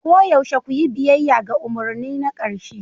Koyaushe ku yi biyayya ga umarni na ƙarshe